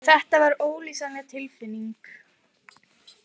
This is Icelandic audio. Þetta var ólýsanleg tilfinning.